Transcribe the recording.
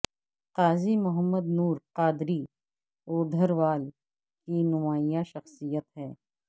قاضی محمد نور قادری اوڈھروال کی نمایاں شخصیت ہیں